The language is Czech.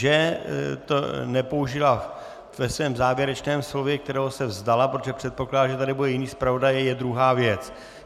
Že to nepoužila ve svém závěrečném slově, kterého se vzdala, protože předpokládala, že tady bude jiný zpravodaj, je druhá věc.